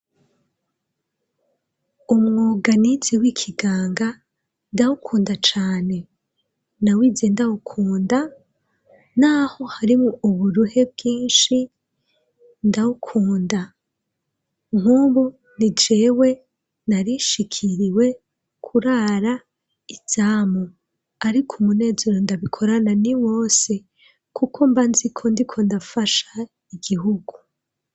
Umwuganizi w'ikiganga ndawukunda cane nawize ndawukunda, naho harimwo uburuhe bwinshi ndawukunda nk'ubu ni jewe narishikiriwe kurara e zamu, ariko umunezero ndabikorana ni wose, kuko mba nziko ndi ko ndafasha igihugu.